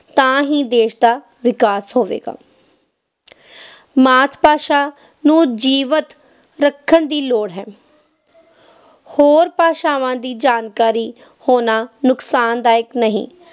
ਤਾਂ ਹੀ ਦੇਸ਼ ਦਾ ਵਿਕਾਸ ਹੋਵੇਗਾ ਮਾਤ-ਭਾਸ਼ਾ ਨੂੰ ਜੀਵਤ ਰੱਖਣ ਦੀ ਲੋੜ ਹੈ ਹੋਰ ਭਾਸ਼ਾਵਾਂ ਦੀ ਜਾਣਕਾਰੀ ਹੋਣਾ ਨੁਕਸਾਨਦਾਇਕ ਨਹੀਂ